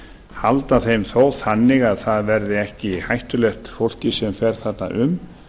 halda þeim þó þannig að það verði ekki hættulegt fólki sem fer þarna um